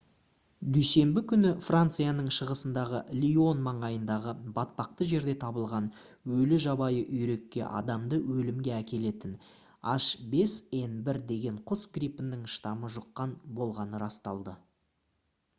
дүйсенбі күні францияның шығысындағы лион маңайындағы батпақты жерде табылған өлі жабайы үйрекке адамды өлімге әкелетін h5n1 деген құс гриппінің штаммы жұққан болғаны расталды